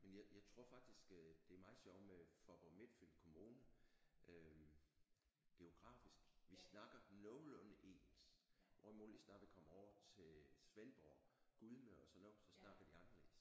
Men jeg jeg tror faktisk øh det er meget sjovt med Faaborg-Midtfyn Kommune øh geografisk vi snakker nogenlunde ens hvorimod lige så snart vil kommer over til Svendborg Gudme og sådan noget så snakker vi anderledes